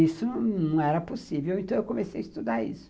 Isso não era possível, então eu comecei a estudar isso.